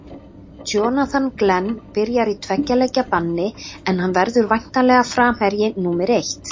Jonathan Glenn byrjar í tveggja leikja banni en hann verður væntanlega framherji númer eitt.